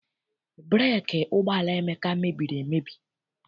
Breeki ụgbọala Emeka mebiri emebi.